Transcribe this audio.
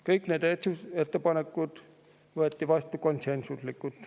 Kõik need otsused võeti vastu konsensuslikult.